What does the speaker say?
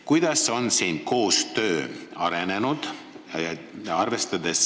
Kuidas on siin koostöö arenenud?